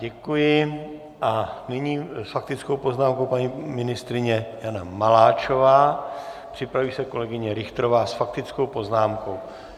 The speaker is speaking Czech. Děkuji a nyní s faktickou poznámkou paní ministryně Jana Maláčová, připraví se kolegyně Richterová s faktickou poznámkou.